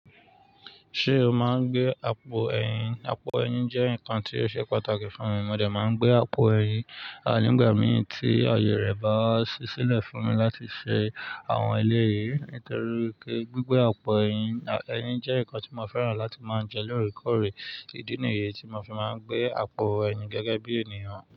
Ṣé o máa ń gbé àpò ẹyin? Àpò ẹyin jẹ́ nǹkan tí ó ṣe pàtàkì fún mi. Mo dè máa ń gbé àpò ẹyin, nígbà mìí tí ayọ̀ rẹ̀ bá ṣi sílẹ̀ fún mi láti ṣe àwọn eléyi Nítorí pé gbígbẹ àpò ẹyin, ẹyin jẹ́ nǹkan tí mo fẹ́ràn láti máa ń jẹ lóòrèkóòrè. Ìdí nìyí tí mo fi máa ń gbé àpò ẹyin gẹ́gẹ́ bí ènìyàn.